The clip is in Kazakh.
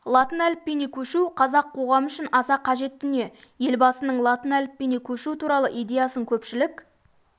латын әліпбиіне көшу қазақ қоғамы үшін аса қажет дүние елбасының латын әліпбиіне көшу туралы идеясын көпшілік